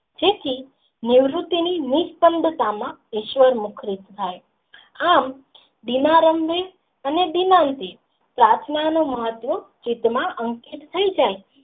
જેથી નિવૃત્તિ ની નિસ્કન્દ માં વિશ્વ મખરુંત થાય આમ ધીમા રંગ ને અને દીવાલ થી પ્રાર્થના નું મહત્વ સીધા માં અંકિત થાય જાય.